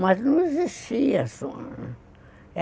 Mas não existia su